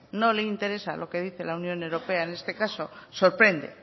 no le interesa lo que dice la unión europea en este caso sorprende